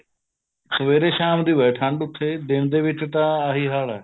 ਸਵੇਰੇ ਸ਼ਾਮ ਦੀ ਆ ਠੰਡ ਉੱਥੇ ਦਿਨ ਦੇ ਵਿੱਚ ਤਾਂ ਆਹੀ ਹਾਲ ਆ